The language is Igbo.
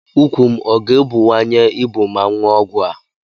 Ukwu m ọ ga-ebuwanye ibu ma m ñụọ ọgwụ a?